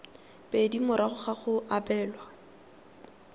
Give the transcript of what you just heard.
pedi morago ga go abelwa